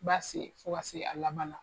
U b'a sen fo ka se a laban na.